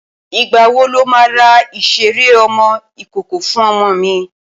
Ìgbàwo lo máa ra ìṣeré ọmọ ìkókó fún ọmọ mi?